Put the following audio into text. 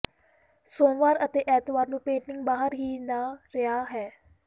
ਸੋਮਵਾਰ ਅਤੇ ਐਤਵਾਰ ਨੂੰ ਪੇਟਿੰਗ ਬਾਹਰ ਹੀ ਨਾ ਰਿਹਾ ਹੈ